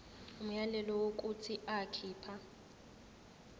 umyalelo wokuthi akhipha